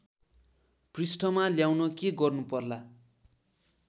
पृष्ठमा ल्याउन के गर्नु पर्ला